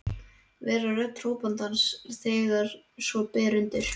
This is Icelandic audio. Vera rödd hrópandans þegar svo ber undir.